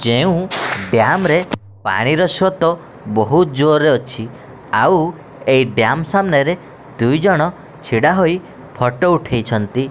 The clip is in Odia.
ଯେଉଁ ଡ଼୍ୟାମ୍ ରେ ପାଣି ର ସ୍ରୋତ ବୋହୁତ୍ ଜୋର୍ ରେ ଅଛି ଆଉ ଏହି ଡ଼୍ୟାମ୍ ସାମ୍ନାରେ ଦୁଇ ଜଣ ଛିଡ଼ା ହୋଇ ଫୋଟୋ ଉଠେଇଛନ୍ତି।